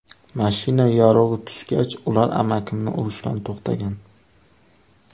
Mashina yorug‘i tushgach, ular amakimni urishdan to‘xtagan.